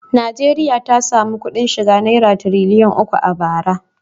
Najeriya ta sami kuɗin shiga naira tiriliyan uku a bara.